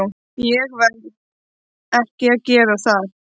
Verð ég ekki að gera það?